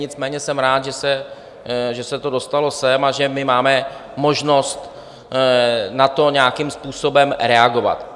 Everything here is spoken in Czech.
Nicméně jsem rád, že se to dostalo sem a že my máme možnost na to nějakým způsobem reagovat.